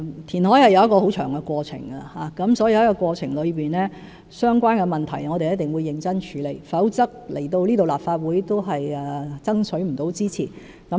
填海是一個很漫長的過程，所以，在這過程中，我們一定會認真處理相關的問題，否則來到立法會也無法取得支持。